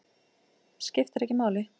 Skiptir ekki máli.